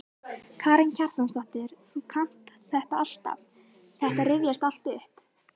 Karen Kjartansdóttir: Þú kannt þetta alltaf, þetta rifjast alltaf upp?